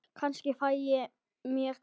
Kannski fæ ég mér kött.